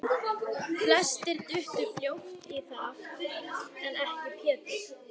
Flestir duttu fljótt í það aftur, en ekki Pétur.